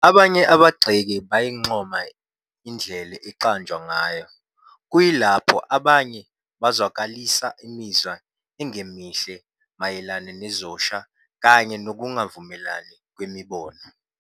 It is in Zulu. Abanye abagxeki bayincoma indlela eyaqanjwa ngayo, kuyilapho abanye bezwakalisa imizwa engemihle mayelana nezosha kanye nokungavumelani kwemibono.